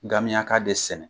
Gamiyaka de sɛnɛ.